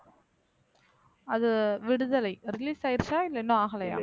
அது விடுதலை release ஆயிடுச்சா இல்லை இன்னும் ஆகலையா